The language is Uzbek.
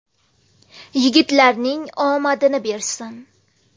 Yigitlarning omadini bersin.